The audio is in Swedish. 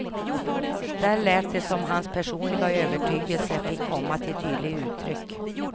Där lät det som om hans personliga övertygelse fick komma till tydligt uttryck.